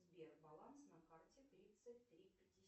сбер баланс на карте тридцать три пятьдесят